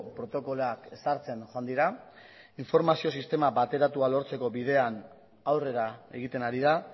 protokoloak ezartzen joan dira informazio sistema bateratua lortzeko bidean aurrera egiten ari da